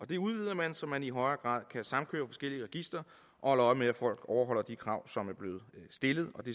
det udvides så man i højere grad kan samkøre forskellige registre og holde øje med at folk overholder de krav som er blevet stillet og det